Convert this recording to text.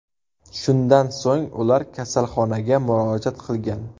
Shundan so‘ng ular kasalxonaga murojaat qilgan.